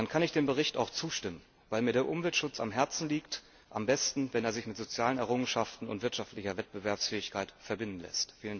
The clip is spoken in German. Dann kann ich dem Bericht auch zustimmen, weil mir der Umweltschutz am Herzen liegt am besten, wenn er sich mit sozialen Errungenschaften und wirtschaftlicher Wettbewerbsfähigkeit verbinden lässt.